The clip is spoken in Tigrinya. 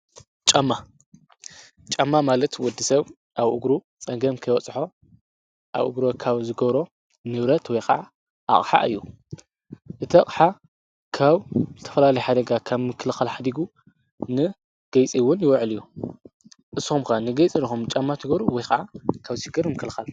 ጫማ ማለት ወዲ ሰብ ኣብ እግሩ ጸንገም ከይወጽሖ ኣብእግሮ ካብ ዝጐሮ ንብረት ወይኸዓ ኣቕሓእ እዩ። እቲ ኣቕሓ ካብ ተፈላሊ ሓደጋ ካብ ምክልኸል ሕዲጉ ንገይጺውን ይውዕል እዩ ።እስምከ ንገይጺ ድኹም ጫማ ቲጐሩ ወይኸዓ ካብ ሲይገር ምክልኻል?